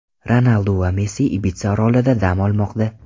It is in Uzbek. Ronaldu va Messi Ibitsa orolida dam olmoqda .